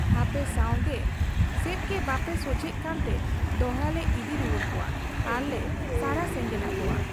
ᱟᱯᱮ ᱥᱟᱢᱜᱮ ᱥᱮᱫᱜᱮ ᱵᱟᱯᱮ ᱥᱚᱡᱷᱮᱜ ᱠᱟᱱᱛᱮ ᱫᱚᱦᱲᱟᱞᱮ ᱤᱫᱤ ᱨᱩᱣᱟᱹᱲ ᱠᱚᱣᱟ ᱟᱨᱞᱮ ᱥᱟᱨᱟ ᱥᱮᱸᱜᱮᱞ ᱟᱠᱚᱣᱟ ᱾